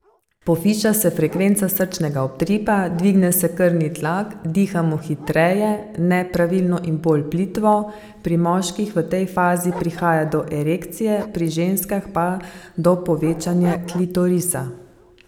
Poviša se frekvenca srčnega utripa, dvigne se krvni tlak, dihamo hitreje, nepravilno in bolj plitvo, pri moških v tej fazi prihaja do erekcije, pri ženskah pa do povečanja klitorisa.